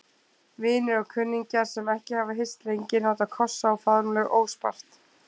Vinir og kunningjar, sem ekki hafa hist lengi, nota kossa og faðmlög óspart.